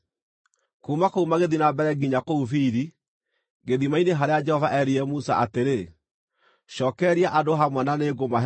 Kuuma kũu magĩthiĩ na mbere nginya kũu Biri, gĩthima-inĩ harĩa Jehova erire Musa atĩrĩ, “Cookereria andũ hamwe na nĩngũmahe maaĩ.”